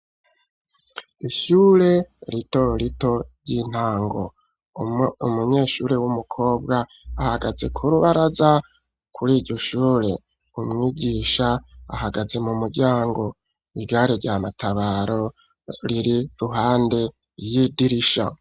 Ishure rito rito ry'intango, umunyeshure w'umukobwa ahagaze ku rubaraza kuriryo shure, umwigisha ahagaze mu muryango. Igare rya matabaro riri iruhande y'idirisha.